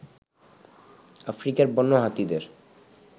আফ্রিকার বন্য হাতিদের